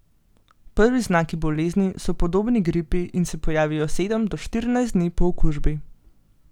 Prvi znaki bolezni so podobni gripi in se pojavijo sedem do štirinajst dni po okužbi.